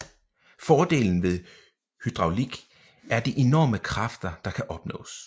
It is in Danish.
Fordelen ved hydraulik er de enorme kræfter der kan opnås